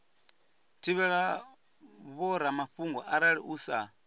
thivhela vhoramafhungo arali u sa